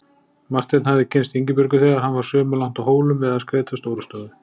Marteinn hafði kynnst Ingibjörgu þegar hann var sumarlangt á Hólum við að skreyta Stórustofu.